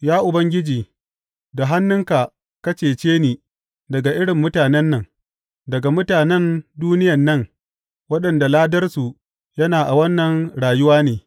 Ya Ubangiji, da hannunka ka cece ni daga irin mutanen nan, daga mutanen duniyan nan waɗanda ladarsu yana a wannan rayuwa ne.